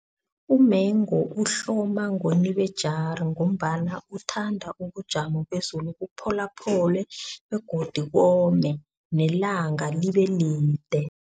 Umengu uhloma ngoNibejari ngombana uthanda ubujamo bezulu bupholaphole begodu kome nelanga libe lide.